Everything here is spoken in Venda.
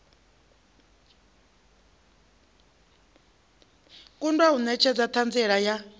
kundwa u netshedza thanziela ya